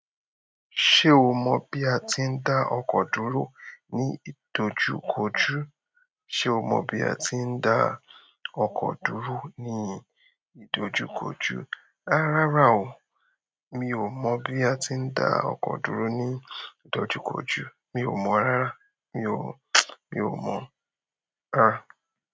Ṣé o mọ bí atí dá ọkọ dúró ní ìdojúkojú? Ṣé o mọ bí atí dá ọkọ dúró ní ìdojúkojú? Rárá o, mi ò mọ bí a ti ń dá ọkọ̀ dúró ní ìdojúkojú. Mi ò mọ rárá. Mi ò, mi ò mọ. Rárá.